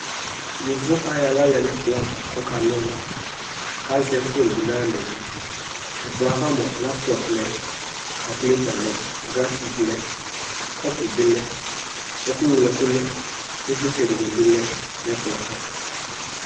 yovo ayɔ ala lɛ no ɛkplɔ ava ko ɔka na ɔlo ko azɛ fon bi no ayi alaɛ li ɛkplɔɛ ava moa laptɔp lɛ kakulata lɛ ko grafik lɛ kɔpu bi lɛ ɛko ŋlo ɛko lɛ ivlitsɛ di ni bi lɛ no ɛkplɔɛ ava